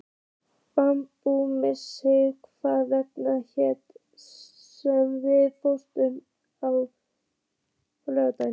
Baldrún, manstu hvað verslunin hét sem við fórum í á laugardaginn?